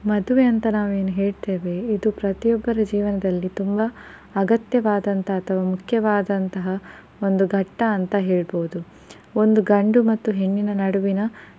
ಮದ್ವೆ ಅಂತ ನಾವ್ ಎನ್ ಹೇಳ್ತೆವೆ ಇದು ಪ್ರತಿಯೊಬ್ಬರ ಜೀವನದಲ್ಲಿ ತುಂಬಾ ಅಗತ್ಯವಾದಂತ ಅಥವಾ ಮುಖ್ಯವಾದಂತಹ ಒಂದು ಘಟ್ಟ ಅಂತ ಹೇಳಬೋದು. ಒಂದು ಗಂಡು ಮತ್ತು ಹೆಣ್ಣು ನಡುವಿನ